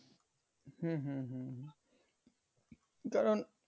হম হম হম হম কারণ